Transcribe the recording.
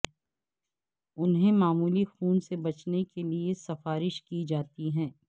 انہیں معمولی خون سے بچنے کے لئے سفارش کی جاتی ہے